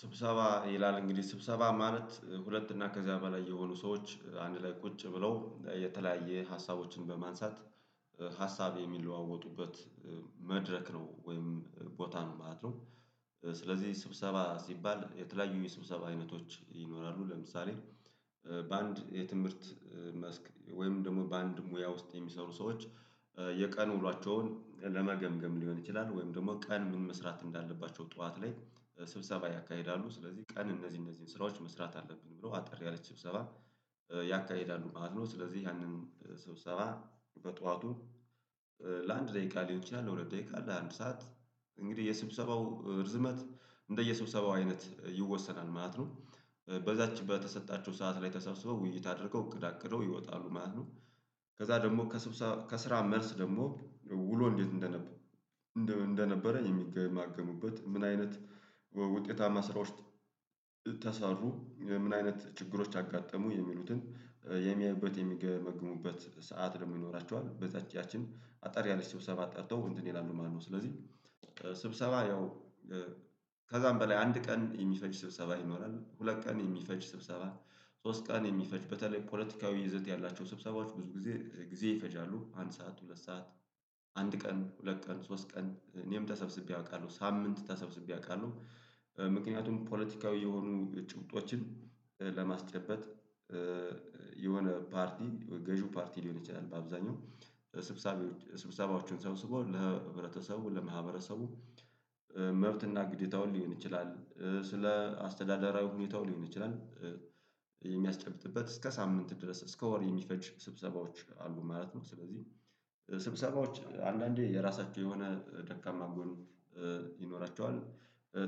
ስብሰባ ይላል እንግዲህ ስብሰባ ማለት ሁለት እና ከዚያ በላይ የሆኑ ሰዎች አንድ ላይ ቁጭ ብለው የተለያየ ሀሳቦችን በማንሳት ሀሳብ የሚለዋወጡበት መድረክ ነው ወይም ቦታ ነው ማለት ነው። ስለዚህ ስብሰባ ሲባል የተለያዩ የስብሰባ አይነቶች ይኖራሉ። ለምሳሌ በአንድ የትምህርት መስክ ወይም ደግሞ በአንድ ሙያ ውስጥ የሚሰሩ ሰዎች የቀን ውሏቸውን ለመገምገም ሊሆን ይችላል። ወይም ደግሞ ቀን ምን መስራት እንዳለባቸው ጠዋት ላይ ስብሰባ ያካሂዳሉ ስለዚህ ቀን እነዚህ እነዚህን ስራዎች መስራት አለብን ብሎ አጠር ያለች ስብሰባ ያካሂዳሉ ማለት ነው። ስለዚህ ያንን ስብሰባ በጧቱ ለአንድ ደቂቃ ሊሆን ይችላል ለሁለት ደቂቃ ለአንድ ሰዓት እንግዲህ የስብሰባው እርዝመት እንደየስብሰባው አይነት ይወሰናል ማለት ነው። በዛች በተሰጣቸው ሰዓት ላይ ተሰብስበው ውይይት አድርገው እቅድ አቅደው ይወጣሉ ማለት ነው። ከዛ ደግሞ ከስራ መልስ ደግሞ ውሎ እንዴት እንደነበረ የሚገማገሙበት ምን አይነት ውጤታማ ስራዎች ተሰሩ ምን አይነት ችግሮች አጋጠሙ የሚሉትን የሚያዩበት የሚገመግሙበት ሰዓት ደግሞ ይኖራቸዋል። በዛች ያችን አጠር ያለች ስብሰባ ጠርተው እንትን ይላሉ ማለት ነው። ስለዚህ ስብሰባ ያው ከዛም በላይ አንድ ቀን የሚፈጅ ስብሰባ ይኖራል ሁለት ቀን የሚፈጅ ስብሰባ ሶስት ቀን የሚፈጅበት በተለይ ፖለቲካዊ ይዘት ያላቸው ስብሰባዎች ብዙ ጊዜ ጊዜ ይፈጃሉ። አንድ ሰዓት ሁለት ሰዓት አንድ ቀን ሁለት ቀን ሶስት ቀን እኔም ተሰብስቤ አውቃለሁ ሳምንት ተሰብስቤ አውቃለሁ። ምክንያቱም ፖለቲካዊ የሆኑ ጭብጦችን ለማስጨበጥ የሆነ ፓርቲ ገዢው ፓርቲ ሊሆን ይችላል በአብዛኛው ሰብሳቢዎች ስብሰባዎችን ሰብስቦ ለህብረተሰቡ ለማህበረሰቡ መብትና ግዴታውን ሊሆን ይችላል ስለ አስተዳደራዊ ሁኔታው ሊሆን ይችላል። የሚያስጨብጥበት እስከ ሳምንት ድረስ እስከ ወር የሚፈጅ ስብሰባዎች አሉ ማለት ነው። ስለዚህ ስብሰባዎች አንዳንዴ የራሳቸው የሆነ ደካማ ጎን ይኖራቸዋል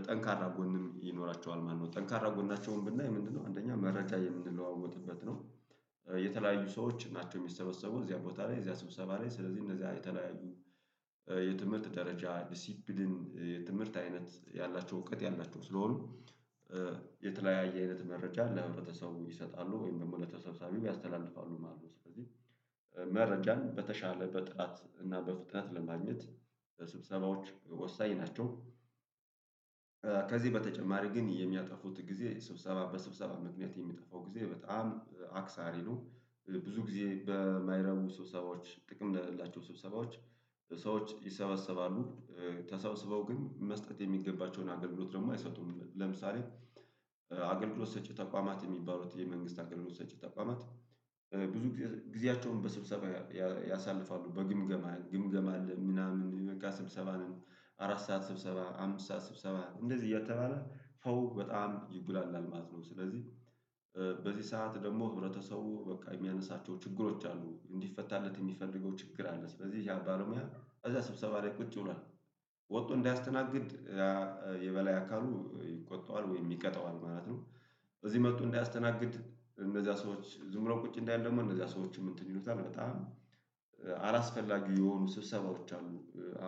ጠንካራ ጎንም ይኖራቸዋል ማለት ነው። ጠንካራ ጎናቸውን ንናይ ምንድነው አንደኛ መረጃ የምንለዋወጥበት ነው። የተለያዩ ሰዎች ናቸው የሚሰበሰቡት እዚያ ቦታ ላይ እዚያ ስብሰባ ላይ ስለዚህ እነዚያን የተለያዩ የትምህርት ደረጃ ዲሲፕሊን የትምህርት አይነት ያላቸው እውቀት ያላቸው ስለሆኑ የተለያየ አይነት መረጃ ለህብረተሰቡ ይሰጣሉ ወይም ደግሞ ለተሰብሰቢው ያስተላልፋሉ ማለት ነው። ስለዚህ መረጃን በተሻለ በጥራት እና በፍጥነት ለማግኘት ለስብሰባዎች ወሳኝ ናቸው። ከዚህ በተጨማሪ ግን የሚያጠፉት ጊዜ ስብሰባ በስብሰባ ምክንያት የሚጠፋው ጊዜ በጣም አክሳሪ ነው። ብዙ ጊዜ በማይረቡ ስብሰባዎች ጥቅም ለሌላቸው ስብሰባዎች ሰዎች ይሰበሰባሉ። ተሰብስበው ግን መስጠት የሚገባቸውን አገልግሎት ደግሞ አይሰጡም። ለምሳሌ አገልግሎት ሰጪ ተቋማት የሚባሉት የመንግስት አገልሎት ሰጪ ተቋማት ብዙ ጊዜያቸውን በስብሰባ ያሳልፋሉ በግምገማ ግምገማ አለ ምናምን በቃ ስብሰባ ነው። አራት ሰዓት ስብሰባ አምስት ሰዓት ስብሰባ እንደዚህ እያተባለ ሰው በጣም ይጉላላል ማለት ነው። ስለዚህ በዚህ ሰዓት ደግሞ ህብረተሰቡ በቃ የሚያነሳቸው ችግሮች አሉ እንዲፈታለት የሚፈልገው ችግር አለ ስለዚህ ያ ባለሙያ እዛ ስብሰባ ላይ ቁጭ ብሏል ወቶ እንዳያስተናግድ የበላይ አካሉ ይቆጣዋል ወይ ይቀጣዋል ማለት ነው። እዚህ መጥቶ እንዳያስተናግድ እነዚያ ሰዎች ዝም ብሎ ቁጭ እንዳይል ደግሞ እነዚያ ሰዎችም እንትን ይሉታል በጣም አላስፈላጊ የሆኑ ስብሰባዎች አሉ።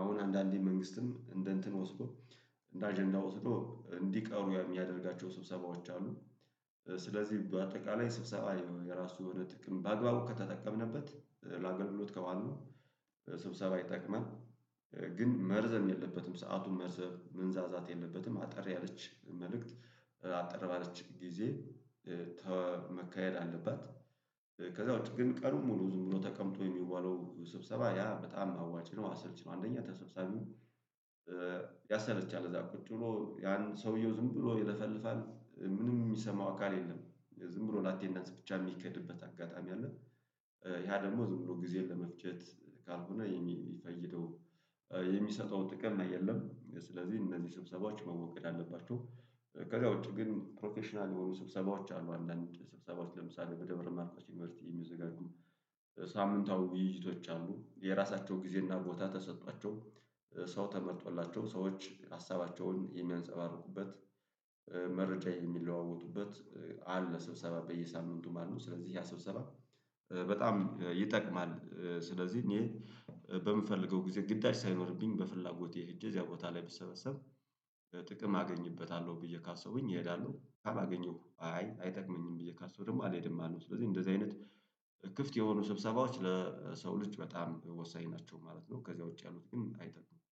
አሁን አንዳንዴ መንግስትም እንደ እንትን ወስዶ እንደ አጀንዳ ወስዶ እንዲቀሩ የሚያደርጋቸው ስብሰባዎች አሉ። ስለዚህ በአጠቃላይ ስብሰባ የራሱ የሆነ ጥቅም በአግባቡ ከተጠቀምንበት ላገልግሎት ካዋልነው ነው ስብሰባ ይጠቅማል። ግን መርዘም የለበትም ሰዓቱ መርዘፍ መንዛዛት የለበትም። አጠር ያለች መልእክት አጠርባለች ጊዜ መካሄድ አለባት። ከዛ ውጪ ግን ቀንኡን ሙሉ ዝም ብሎ ተቀምጦ የሚዋለው ስብሰባ ያ በጣም አዋጭ ነው አሰልቺ ነው። አንደኛ ተሰብሳቢው ያሰለቻል እዛ ቁጭ ብሎ ያን ሰውየው ዝም ብሎ ይለፈልፋል ምንም የሚሰማው አካል የለም። ዝም ብሎ ለአቴንዳንስ ብቻ የሚኬድበት አጋጣሚ አለ። ያ ደግሞ ዝም ብሎ ጊዜን ለመፍጀት ካልሆነ የሚፈይደው የሚሰጠው ጥቅም የለም። ስለዚህ እነዚህ ስብሰባዎች መወገድ አለባቸው። ከዛ ውጪ ግን ፕሮፌሽናል የሆኑ ስብሰባዎች አሉ። አንዳንድ ስብሰባዎች ለምሳሌ በደብረ ማርቆስ ዩኒቨርሲቲ የሚዘጋጁ ሳምንታዊ ውይይቶች አሉ የራሳቸው ጊዜ እና ቦታ ተሰቶዋቸው ሰው ተመርጦላቸው ሰዎች ሀሳባቸውን የሚያንፀባርቁበት መረጃ የሚለዋወጡበት አለ። ስብሰባ በየሳምንቱ ማለት ነው። ስለዚህ ያ ስብሰባ በጣም ይጠቅማል። ስለዚህ እኔ በምፈልገው ጊዜ ግዳጅ ሳይኖርብኝ በፍላጎቴ ሄጄ እዚያ ቦታ ላይ ብሰበሰብ ጥቅም አገኝበታለሁ ብዬ ካሰቡኝ እሄዳለሁ አላገኝም አይ አይጠቅመኝም ብዬ ሳስብ ደግሞ አልሄድም ማለት ነው። ስለዚህ እንደዚህ አይነት ክፍት የሆኑ ስብሰባዎች ለሰው ልጅ በጣም ወሳኝ ናቸው ማለት ነው። ከዚያ ውጪ ያሉት ግን አይጠቅሙም